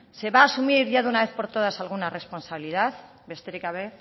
se va a asumir ya de una vez por todas alguna responsabilidad besterik gabe